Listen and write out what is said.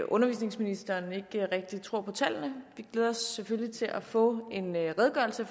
undervisningsministeren ikke rigtig tror på tallene vi glæder os selvfølgelig til at få en redegørelse